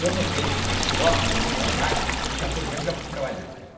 Eu notei que na esco, no no trabalho, com quatorze anos já fui trabalhar.